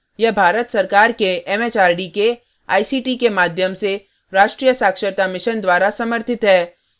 यह भारत सरकार के एमएचआरडी के आईसीटी के माध्यम से राष्ट्रीय साक्षरता mission द्वारा समर्थित है